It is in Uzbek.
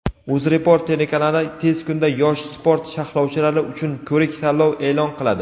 UzReport telekanali tez kunda yosh sport sharhlovchilari uchun ko‘rik-tanlov e’lon qiladi.